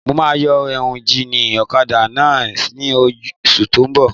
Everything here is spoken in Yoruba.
Mo máa yọ éúnjínì ọ̀kadà náà ní oṣù tó n bọ̀